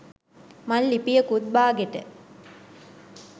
මං ලිපියකුත් බාගෙට